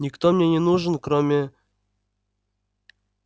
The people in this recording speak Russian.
никто мне не нужен кроме